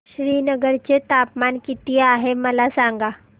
श्रीनगर चे तापमान किती आहे मला सांगा